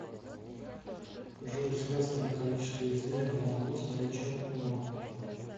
джой связано ли количество извилин в мозгу с наличием ума